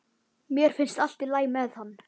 Mér finnst allt í lagi með hann.